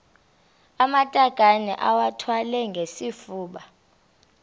amatakane iwathwale ngesifuba